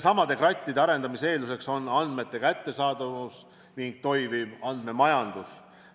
Krattide arendamise eelduseks on andmete kättesaadavus ning toimiv andmemajandus.